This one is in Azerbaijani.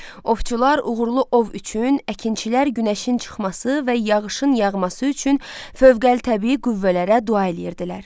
Ovçular uğurlu ov üçün əkinçilər günəşin çıxması və yağışın yağması üçün fövqəli təbii qüvvələrə dua eləyirdilər.